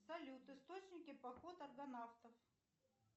салют источники поход аргонавтов